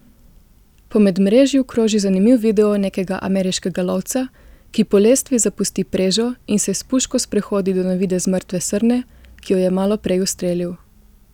Po medmrežju kroži zanimiv video nekega ameriškega lovca, ki po lestvi zapusti prežo in se s puško sprehodi do na videz mrtve srne, ki jo je malo prej ustrelil.